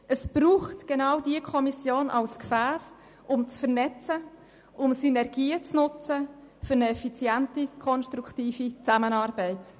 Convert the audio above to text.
Es braucht genau diese Kommission zur Vernetzung und zur Nutzung von Synergien für eine effiziente, konstruktive Zusammenarbeit.